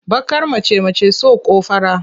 Baƙar mace mace so ko fara?